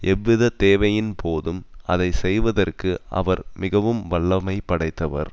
எவ்வித தேவையின் போதும் அதை செய்வதற்கு அவர் மிகவும் வல்லமை படைத்தவர்